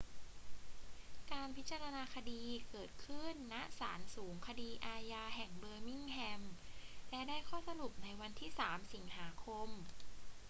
การพิจารณาคดีเกิดขึ้น ณ ศาลสูงคดีอาญาแห่งเบอร์มิงแฮม และได้ข้อสรุปในวันที่ 3 สิงหาคม